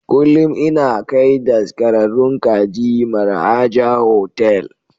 Kullum ina kai daskararrun kaji Mar'haja Hotel.